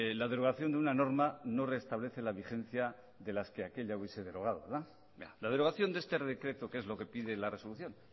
la derogación de una norma no restablece vigencia de las que aquella hubiese derogado verdad la derogación de ese decreto que es lo que pide la resolución